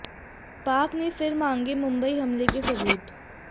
पाक ने फिर मांगे मुंबई हमले के सबूत